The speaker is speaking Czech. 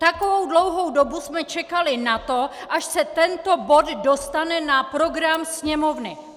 Takovou dlouhou dobu jsme čekali na to, až se tento bod dostane na program Sněmovny.